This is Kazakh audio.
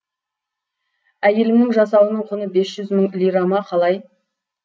әйелімнің жасауының құны бес жүз мың лира ма қалай